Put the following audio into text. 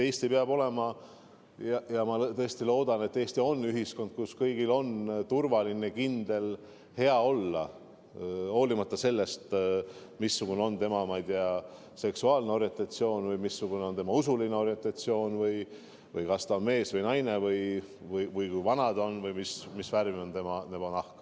Eesti peab olema – ja ma tõesti loodan, et Eesti on – ühiskond, kus kõigil on turvaline, kindel ja hea olla, hoolimata sellest, missugune on tema seksuaalne orientatsioon või missugused on tema usulised veendumused, kas ta on mees või naine, kui vana ta on või mis värvi on tema nahk.